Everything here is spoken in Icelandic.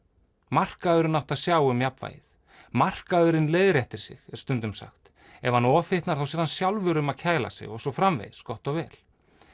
markaðurinn átti að sjá um jafnvægið markaðurinn leiðréttir sig er stundum sagt ef hann ofhitnar sér hann sjálfur um að kæla sig og svo framvegis gott og vel